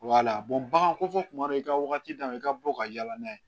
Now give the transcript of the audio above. bagan kɔfɛ kuma dɔ i ka wagati dayɛlɛ i ka bɔ ka yala n'a ye